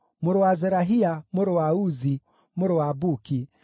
mũrũ wa Zerahia, mũrũ wa Uzi, mũrũ wa Buki,